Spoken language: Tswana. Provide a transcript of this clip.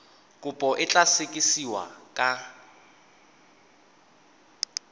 kopo e tla sekasekiwa ka